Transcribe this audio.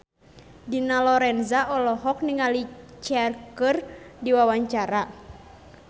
Dina Lorenza olohok ningali Cher keur diwawancara